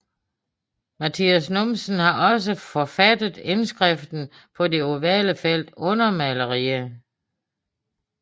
Matias Numsen har også forfattet indskriften på det ovale felt under maleriet